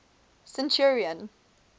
centurion